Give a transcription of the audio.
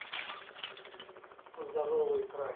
здоровый край